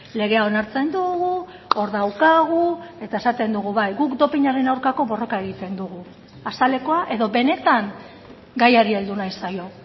legea onartzen dugu hor daukagu eta esaten dugu bai guk dopinaren aurkako borroka egiten dugu azalekoa edo benetan gaiari heldu nahi zaio